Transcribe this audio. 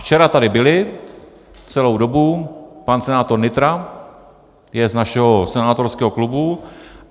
Včera tady byli celou dobu, pan senátor Nytra, je z našeho senátorského klubu.